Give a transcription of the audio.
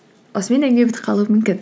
осымен әңгіме бітіп қалуы мүмкін